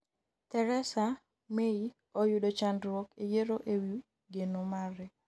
Theresa May oyudo chandruok e yiero e wi geno mare